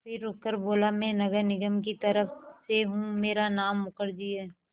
फिर रुककर बोला मैं नगर निगम की तरफ़ से हूँ मेरा नाम मुखर्जी है